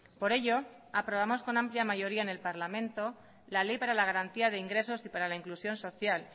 por ello aprobamos con amplia mayoría en el parlamento la ley para la garantía de ingresos y para la inclusión social